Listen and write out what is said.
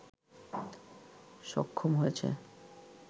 সক্ষম হয়েছে